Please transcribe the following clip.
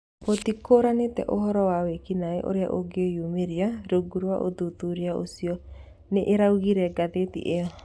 Gũtikũrĩkanĩte ũhoro wa wĩkinaĩ ũrĩa ũngĩyumĩria rungu rwa ũthuthuria ũcio, nĩĩraugĩre ngathĩti ĩyo